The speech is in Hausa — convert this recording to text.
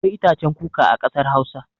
Akwai itacen kuka a kasar Hausa.